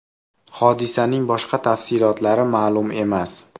Hodisaning boshqa tafsilotlari ma’lum emas.